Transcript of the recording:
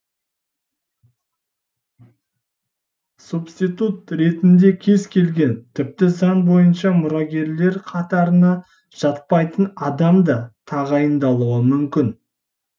субститут ретінде кез келген тіпті заң бойынша мұрагерлер қатарына жатпайтын адам да тағайындалуы мүмкін